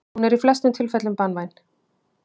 Hún er í flestum tilfellum banvæn.